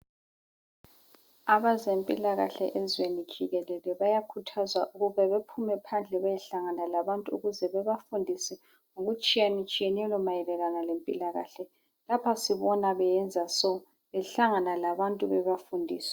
Abezempilakahle ezweni jikelele bayakhuthazwa ukuba bephume phandle beyohlangana labantu ukuze bebafundise okutshiyenetshiyeneyo mayelana lempilakahle. Lapha sibona beyenza so, behlangana labantu bebafundisa.